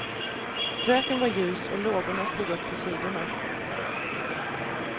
Röken var ljus och lågorna slog upp på sidorna.